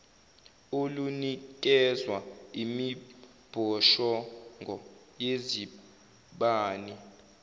olunikezwa imibhoshongo yezibani